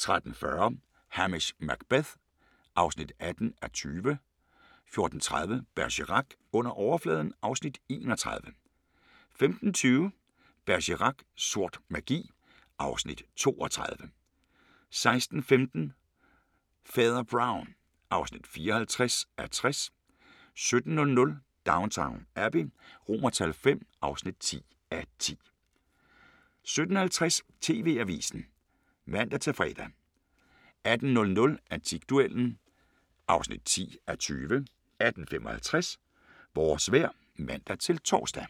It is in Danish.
13:40: Hamish Macbeth (18:20) 14:30: Bergerac: Under overfladen (Afs. 31) 15:20: Bergerac: Sort magi (Afs. 32) 16:15: Fader Brown (54:60) 17:00: Downton Abbey V (10:10) 17:50: TV-avisen (man-fre) 18:00: Antikduellen (10:20) 18:55: Vores vejr (man-tor)